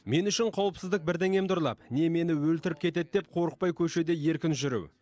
мен үшін қауіпсіздік бірдеңемді ұрлап не мені өлтіріп кетеді деп қорықпай көшеде еркін жүру